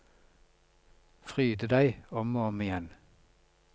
Fryde deg, om og om igjen.